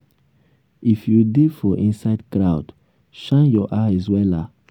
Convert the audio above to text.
if you dey for inside crowd shine your eyes wella